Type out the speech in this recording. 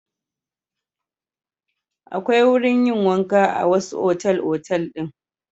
Akwai wurin yin wanka a wasu otal-otal din.